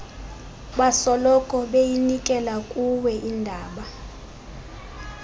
basoloko beyinikelakuwe indaba